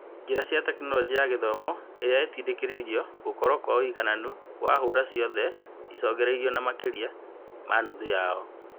Njĩra cia Tekinoronjĩ ya Gĩthomo iria ingĩtindĩkĩrĩria gũkorwo kwa ũigananu wa hũra ciothe ũrageririo na makĩria ma nuthu yao.